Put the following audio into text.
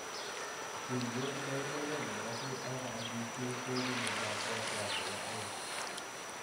Tuiyert ne inekei nepo cisd2 koipu miondo ap wolfram nepo aeng